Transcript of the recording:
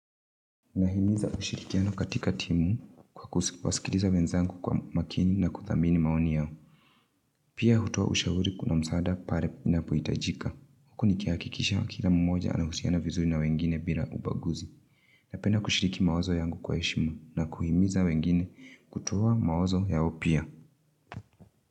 Nahimiza ushirikiano katika timu kwa kusikiliza wenzangu kwa umakini na kuthamini maoni yao. Pia hutoa ushauri kuna msaada pale inapohitajika. Huku nikihakikisha kila mmoja anahusiana vizuri na wengine bila ubaguzi. Napenda kushiriki mawazo yangu kwa heshima na kuhimiza wengine kutoa mawazo yao pia.